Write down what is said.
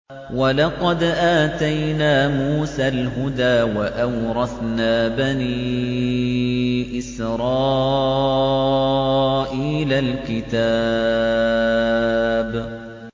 وَلَقَدْ آتَيْنَا مُوسَى الْهُدَىٰ وَأَوْرَثْنَا بَنِي إِسْرَائِيلَ الْكِتَابَ